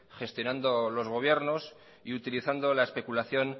gestionando los gobiernos y utilizando la especulación